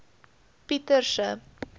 pieterse